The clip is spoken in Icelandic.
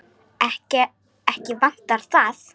Ekki vantar það.